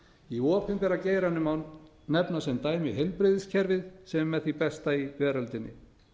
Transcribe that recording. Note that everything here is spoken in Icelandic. í opinbera geiranum má nefna sem dæmi heilbrigðiskerfið sem er með því besta í veröldinni